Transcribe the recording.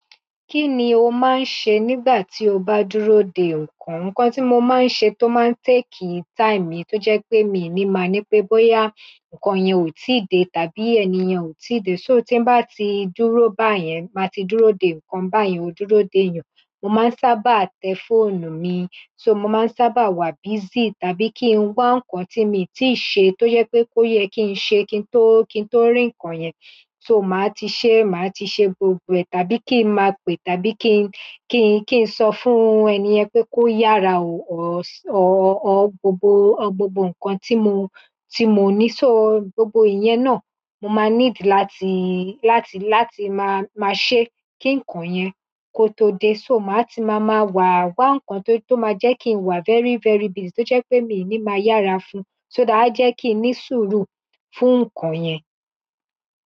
Kí ni o máa ń ṣe nígbà tí o bá dúró de nǹkan? Nǹkan tí mo máa ń ṣe tó máa ń take time mi tó jẹ́ pé mi ò ní máa ní pé, bóyá nǹkan yẹn ò tíì dé tàbí ènìyàn ò tí dé. So, tí bá ti dúró báyẹn, má ti dúró de nǹkan, báyẹn ó dúró de èèyàn, mo máa ń sábà tẹ fóònù mi. So, mo máa ń sábà wà busy tàbí kí n wá nǹkan tí mo ti ṣe tó jẹ́ pé ó yẹ kí n ṣe kí n tó, kí n tó rìn kàn yẹn. So màá ti ṣe, màá ti ṣe gbogbo rẹ̀ tàbí kí n máa pè, tàbí kí n, kí n, kí n sọ fún ènìyàn pé kó yára o. Ọ, ọ, ọ gbogbo, ọ gbogbo nǹkan tí mo, tí mo ní, so gbogbo ìyẹn náà mo máa need láti, láti, láti máa, máa ṣe kí nǹkan yẹn kó tó dé. So màá ti máa, máa wà wá nǹkan tó, tó máa jẹ́ kí n wà very, very busy tó jẹ́ pé mi ò ní máa yára fún un. So that ájẹ́ kí n ní sùúrù fún nǹkan yẹn.